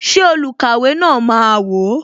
Ṣé olukaiwe na máa wò?